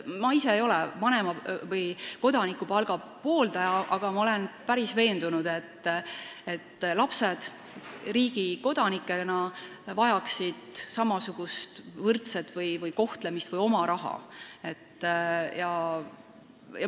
Ma ise ei ole vanema- või kodanikupalga pooldaja, aga ma olen päris veendunud, et lapsed riigi kodanikena vajaksid samasugust võrdset kohtlemist või oma raha.